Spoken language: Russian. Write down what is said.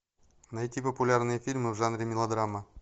найти популярные фильмы в жанре мелодрама